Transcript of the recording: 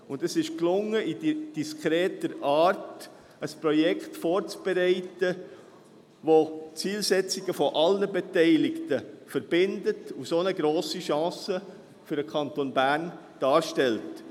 Es gelang, auf diskrete Art ein Projekt vorzubereiten, das die Zielsetzungen aller Beteiligten verbindet und so eine grosse Chance für den Kanton Bern darstellt.